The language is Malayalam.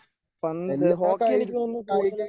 പന്ത് ഹോക്കി എനിക്ക് തോന്നുന്നു കൂടുതലായി